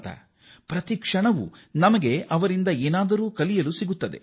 ನಾವು ಅವರಿಂದ ಪ್ರತಿಯೊಂದು ಕ್ಷಣದಲ್ಲೂ ಏನಾದರೂ ಕಲಿಯುವುದು ಇದೆ